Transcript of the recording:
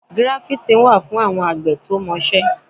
Gíráfítìn wà fún àwọn àgbẹ̀ tó mọ iṣẹ́.